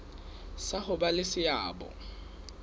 sa ho ba le seabo